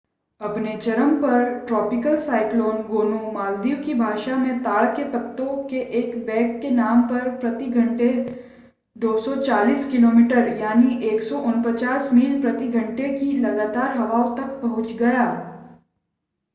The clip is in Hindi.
अपने चरम पर ट्रॉपिकल साइक्लोन गोनू मालदीव की भाषा में ताड़ के पत्तों के एक बैग के नाम पर प्रति घंटे 240 किलोमीटर 149 मील प्रति घंटे की लगातार हवाओं तक पहुंच गया